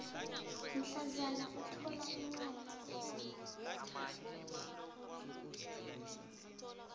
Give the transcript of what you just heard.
mhlazana uthola incwadi